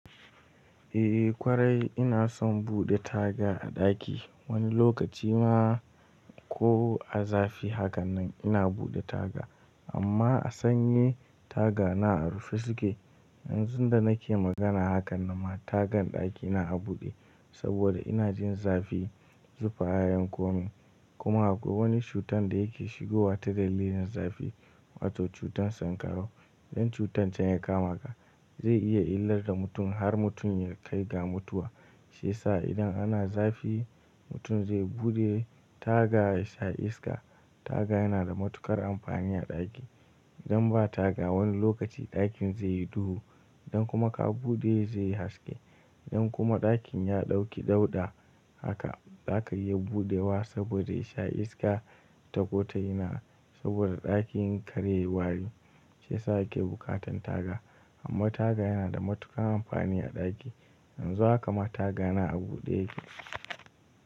Eh ƙwarai ina son buɗe taga a ɗaki. Wani lokaci ma ko a zafi haka nan ina buɗe taga amma a sanyi taga na a rufe suke. Yanzu da nake magana haka na ma tagan ɗaki na a buɗe saboda ina jin zafi zufa ya yan koma. Kuma akwai wani cutar da yake shigowa ta dalilin zafi wato cutar sankarau. Dan cutar can ya kamata zai iya illar da mutum har mutum ya kai ga mutuwa. Shiyasa idan ana zafi mutum zai buɗe taga ya sha iska. Taga yana da matuƙar amfani a ɗaki. Idan ba taga wani lokaci ɗakin zai yi duhu. Dan kuma ka buɗe zai haske. In kuma ɗakin ya ɗauki dauɗa haka zaka iya buɗewa saboda ya sha iska ta ko ta ina. Saboda ɗakin kar yayi wari shiyasa yake buƙatan taga. Amma taga yana da matuƙar amfani a ɗaki. Yanzu haka ma taga na a buɗe yake.